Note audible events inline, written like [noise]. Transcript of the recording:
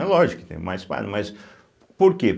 É lógico que tem [unintelligible] mas por quê?